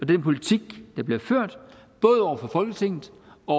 den politik der bliver ført både over for folketinget og